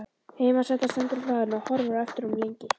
Heimasætan stendur á hlaðinu og horfir á eftir honum lengi.